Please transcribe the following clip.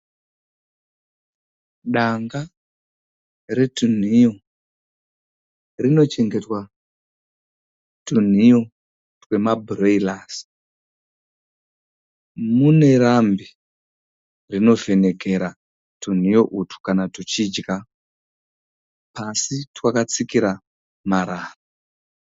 Danga retunhiyo. Rinochengetwa tunhiyo twemabhureirasi. Mune rambe rinovhenekera tunhiyo utwu kana tuchidya. Pasi twakatsikira marara.